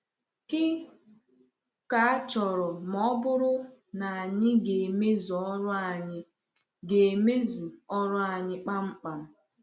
Kí ka a chọrọ ma ọ bụrụ na anyị ga-emezu ọrụ anyị ga-emezu ọrụ anyị kpamkpam?